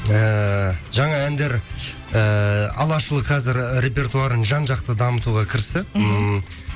ііі жаңа әндер ііі алашұлы қазір репертуарын жан жақты дамытуға кірісті ммм